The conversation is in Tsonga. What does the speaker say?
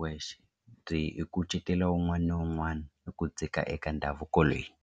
wexe byi kucetela un'wana na un'wana hi ku dzika eka ndhavuko leyi.